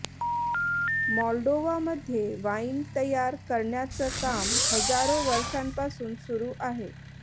मॉल्डोवामध्ये wine तयार करण्याचं काम हजारो वर्षांपासून सुरू आहे